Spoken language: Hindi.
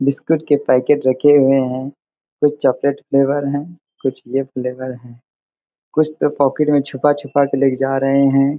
बिस्कुट के पैकेट रखे हुए हैं। कुछ चॉकलेट फ्लेवर हैं कुछ ये फ्लेवर हैं। कुछ तो पॉकेट में छुपा-छुपा के ले के जा रहें हैं।